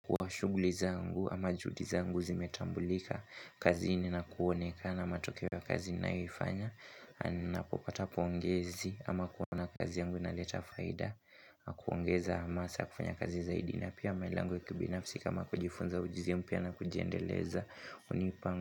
Kuwa shughuli zangu ama juhudi zangu zimetambulika, kazi ina kuonekana matokeo ya kazi ninayoifanya, napopata pongezi ama kuona kazi yangu inaleta faida huongeza hamasa ya kufanya kazi zaidi na pia malengo ya kibinafsi kama kujifunza ujuzi mpya na kujiendeleza hunipa ngu.